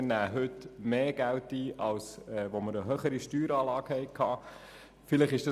Wir nehmen heute mehr Geld ein als damals, als wir eine höhere Steueranlage hatten.